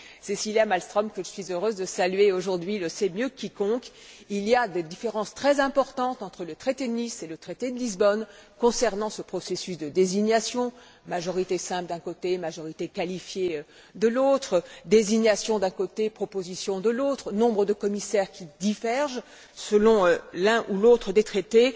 Cécilia Malmström que je suis heureuse de saluer aujourd'hui le sait mieux que quiconque, il y a des différences très importantes entre le traité de Nice et le traité de Lisbonne concernant ce processus de désignation majorité simple d'un côté, majorité qualifiée de l'autre, désignation d'un côté, proposition de l'autre, nombre de commissaires qui divergent selon l'un ou l'autre des traités.